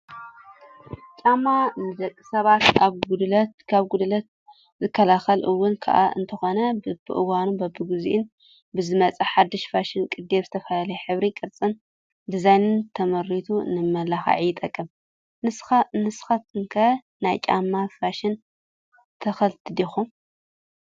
ጫማ፡- ንደቂ ሰባት ካብ ጉድኣት ዝከላኸል እውን እኳ እንተኾነ በብእዋኑን በቢጊዜኡን ብዝመፅእ ሓዱሽ ፋሽን ቅዲ ብዝተፈላለየ ሕብሪ፣ ቅርፂን ዲዛይንን ተመሪቱ ንመመላኽዒ ይጠቅም ፡፡ ንስኻትኩ ከ ናይ ጫማ ፋሽን ተኸልቲ ዲኹም?